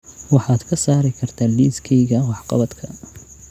Waxaad ka saari kartaa liiskayga wax-qabadka